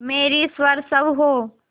मेरी सर्वस्व हो